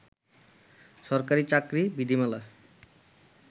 সরকারি চাকরি বিধিমালা